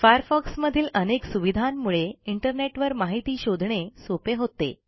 Firefox मधील अनेक सुविधांमुळे इंटरनेटवर माहिती शोधणे सोपे होते